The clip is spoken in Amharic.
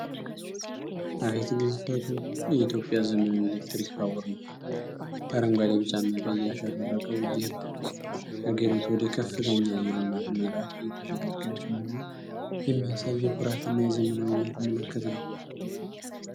አቤት ግዝፈቱ! የኢትዮጵያ ዘመናዊ ኤሌክትሪክ ባቡር ነው። በአረንጓዴ፣ ቢጫና ቀይ ያሸበረቀው ይህ ባቡር፣ አገሪቱ ወደ ከፍተኛ የልማት ምዕራፍ እየተሸጋገረች መሆኗን የሚያሳይ የኩራትና የዘመናዊነት ምልክት ነው።